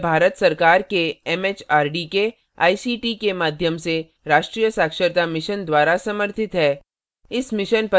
यह भारत सरकार के एमएचआरडी के आईसीटी के माध्यम से राष्ट्रीय साक्षरता mission द्वारा समर्थित है